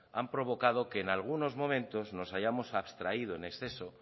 han provocado que en algunos momentos nos hayamos abstraído en exceso